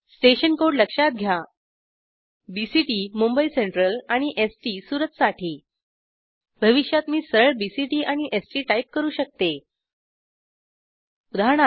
station code लक्षात घ्या BCT Mumbai central आणि एसटी सुरतसाठी भविष्यात मी सरळ बीसीटी आणि एसटी टाईप करू शकते उदा